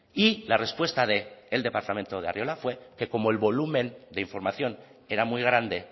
y la respuesta del departamento de arriola fue que como el volumen de información era muy grande